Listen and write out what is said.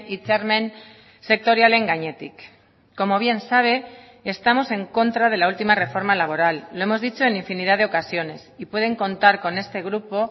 hitzarmen sektorialen gainetik como bien sabe estamos en contra de la última reforma laboral lo hemos dicho en infinidad de ocasiones y pueden contar con este grupo